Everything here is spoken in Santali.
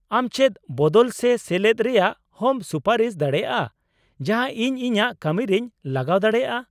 ᱟᱢ ᱪᱮᱫ ᱵᱚᱫᱚᱞ ᱥᱮ ᱥᱮᱞᱮᱫ ᱨᱮᱭᱟᱜ ᱦᱚᱸᱢ ᱥᱩᱯᱟᱨᱤᱥ ᱫᱟᱲᱮᱭᱟᱜᱼᱟ ᱡᱟᱦᱟᱸ ᱤᱧ ᱤᱧᱟᱹᱜ ᱠᱟᱹᱢᱤ ᱨᱮᱧ ᱞᱟᱜᱟᱣ ᱫᱟᱲᱮᱭᱟᱜ ?